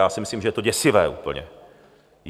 Já si myslím, že je to děsivé úplně.